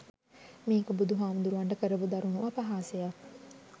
මේක බුදු හාමුදුරුවන්ට කරපු දරුණු අපහාසයක්.